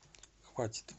хватит